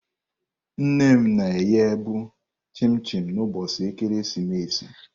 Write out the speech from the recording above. Nne m na-eghe bu chim-chim n'ụbọchị ekeresimesi.